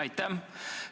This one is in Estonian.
Aitäh!